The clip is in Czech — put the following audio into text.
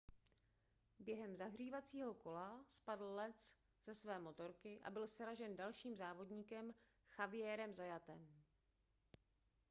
během zahřívacího kola spadl lenz ze své motorky a byl sražen dalším závodníkem xavierem zayatem